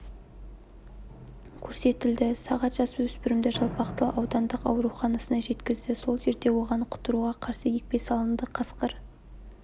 көрсетілді сағат жасөспірімді жалпақтал аудандық ауруханасына жеткізді сол жерде оған құтыруға қарсы екпе салынды қасқыр